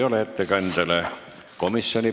Rohkem ettekandjale küsimusi ei ole.